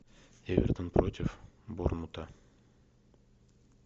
эвертон против борнмута